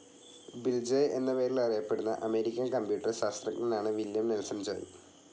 Bill Joy എന്ന പേരിൽ അറിയപ്പെടുന്ന അമേരിക്കൻ കമ്പ്യൂട്ടർ ശാസ്ത്രജ്ഞനാണ് വില്ല്യം നെൽസൺ ജോയ്.